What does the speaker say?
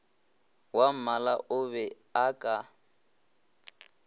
wwammala o be a ka